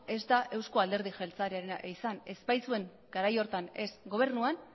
ez da eusko alderdi jeltzalearena izan ez baitzuen garai horretan ez gobernuan